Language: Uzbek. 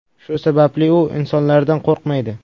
Shu sababli u insonlardan qo‘rqmaydi.